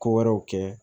Ko wɛrɛw kɛ